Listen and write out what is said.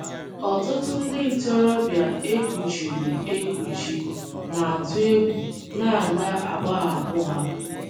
Ọtụtụ ndị ntorobịa e kuchiri ekuchi na - atụ egwu na a ga - agbahapụ ha.